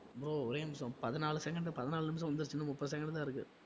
bro ஒரே நிமிஷம் பதினாலு second பதினாலு நிமிஷம் வந்துடுச்சு இன்னும் முப்பது second தான் இருக்கு